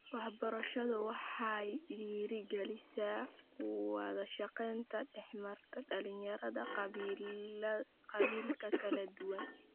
Waxbarashadu waxa ay dhiiri gelisaa wada shaqayn dhex marta dhalinyarada qabaa'ilka kala duwan.